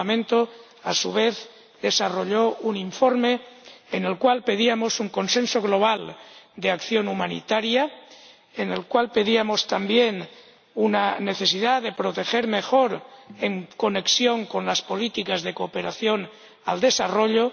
el Parlamento, a su vez, desarrolló un informe en el cual pedíamos un consenso global de acción humanitaria, en el cual pedíamos también una necesidad de proteger mejor en conexión con las políticas de cooperación al desarrollo